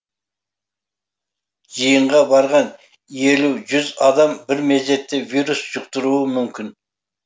жиынға барған елу жүз адам бір мезетте вирус жұқтыруы мүмкін